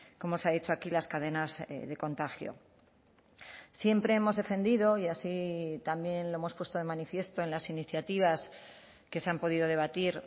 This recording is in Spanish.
como se ha dicho aquí las cadenas de contagio siempre hemos defendido y así también lo hemos puesto de manifiesto en las iniciativas que se han podido debatir